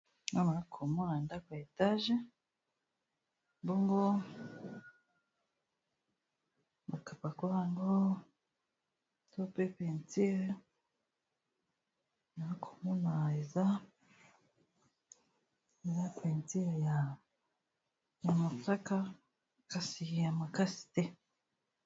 Awa nakomona ndako ya etage bongo makapako yango to pe peinture nakomona eza peinture ya mosaka kasi makasi te.